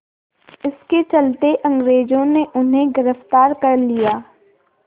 इसके चलते अंग्रेज़ों ने उन्हें गिरफ़्तार कर लिया